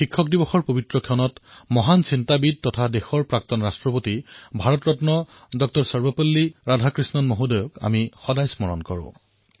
শিক্ষক দিৱস উপলক্ষে মহান চিন্তাবিদ আৰু দেশৰ প্ৰাক্তন ৰাষ্ট্ৰপতি ভাৰত ৰত্ন ডঃ সৰ্বপল্লী ৰাধাকৃষ্ণণক আমি সোঁৱৰণ কৰোঁ